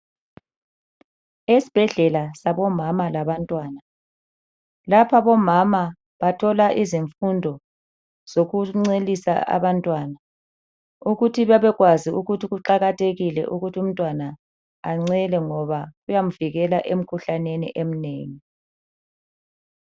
Esibhedlela sabomama labantwana, lapha bomama bathola izifundo zokuncelisa abantwana. Ukuthi bebekwazi Ukuthi kuqakathekile umntwana encele ngoba kuyamvikela emkhuhlaneni eminengi.